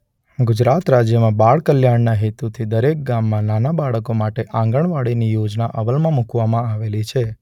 ગુજરાત રાજ્યમાં બાળકલ્યાણના હેતુથી દરેક ગામમાં નાનાં બાળકો માટે આંગણવાડીની યોજના અમલમાં મુકવામાં આવેલી છે.